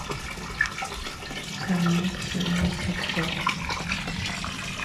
канал ксении собчак